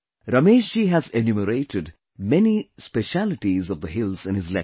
Ramesh ji has enumerated many specialities of the hills in his letter